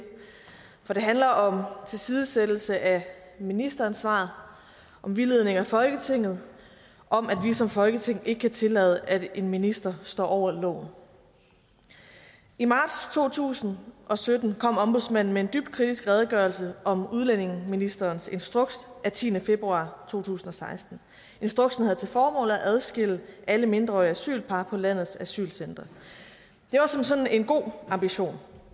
for det handler om tilsidesættelse af ministeransvaret om vildledning af folketinget om at vi som folketing ikke kan tillade at en minister står over loven i marts to tusind og sytten kom ombudsmanden med en dybt kritisk redegørelse om udlændingeministerens instruks af tiende februar to tusind og seksten instruksen havde til formål at adskille alle mindreårige asylpar på landets asylcentre det var som sådan en god ambition